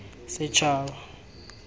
setšhaba